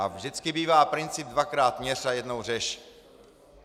A vždycky bývá princip dvakrát měř a jednou řež.